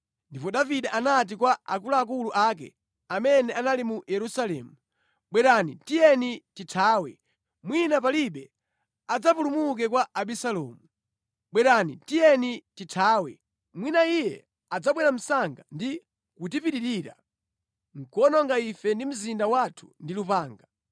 Ndipo Davide anati kwa akuluakulu ake amene anali mu Yerusalemu. “Bwerani! Tiyeni tithawe, mwina palibe adzapulumuke kwa Abisalomu. Tiyeni tichoke msanga, mwina iye adzabwera msanga ndi kutipitirira, nʼkuwononga ife ndi mzinda wathu ndi lupanga.”